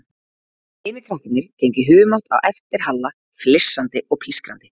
Hinir krakkarnir gengu í humátt á eftir Halla, flissandi og pískrandi.